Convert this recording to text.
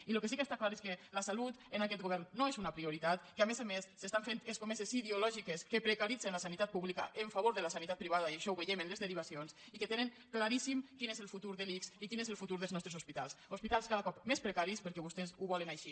i el que sí que està clar és que la salut en aquest govern no és una prioritat que a més a més s’estan fent escomeses ideo·lògiques que precaritzen la sanitat pública en favor de la sanitat privada i això ho veiem en les derivacions i que tenen claríssim quin és el futur de l’ics i quin és el futur dels nostres hospitals hospitals cada cop més precaris perquè vostès ho volen així